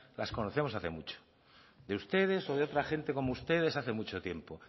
las conocemos hace mucho de ustedes o de otra gente como ustedes hace mucho tiempo